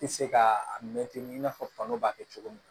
Tɛ se ka a mɛn ten i n'a fɔ fan b'a kɛ cogo min